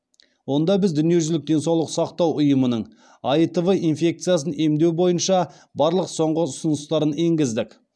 онда біз дүниежүзілік денсаулық сақтау ұйымының аитв инфекциясын емдеу бойынша барлық соңғы ұсыныстарын енгіздік